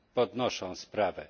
podnoszą sprawę